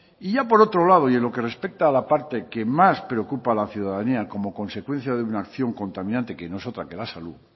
y ya por otro lado y en lo que respecta a la parte que más preocupa a la ciudadanía como consecuencia de una acción contaminante que no es otra que la salud